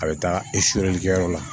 A bɛ taa kɛyɔrɔ la